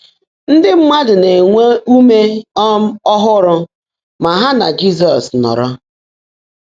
Ndị́ mmádụ́ ná-énwé úmé um ọ́hụ́rụ́ má há nà Jị́zọ́s nọ́ọ́ró.